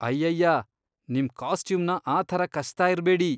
ಅಯ್ಯಯ್ಯಾ, ನಿಮ್ ಕಾಸ್ಟ್ಯೂಮ್ನ ಆ ಥರ ಕಚ್ತಾ ಇರ್ಬೇಡಿ.